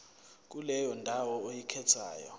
kuleyo ndawo oyikhethayo